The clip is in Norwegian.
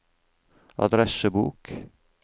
adressebok